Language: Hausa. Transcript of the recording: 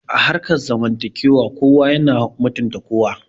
A harkar zamantakewa kowa yana mutunta kowa